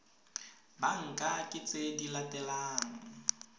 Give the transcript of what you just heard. banka ke tse di latelang